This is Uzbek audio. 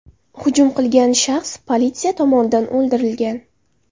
Hujum qilgan shaxs politsiya tomonidan otib o‘ldirilgan.